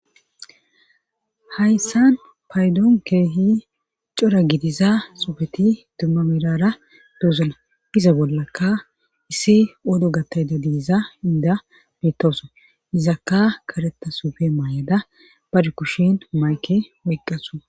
Hayssan paydoon keehi cora gidiza sufeti dumma mirara duuzune gize bollakka issi wodo gattayda diiza inda bittowoso izakka kareta sufe maayada bari kushin mayke woyqqasua